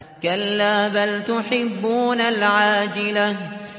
كَلَّا بَلْ تُحِبُّونَ الْعَاجِلَةَ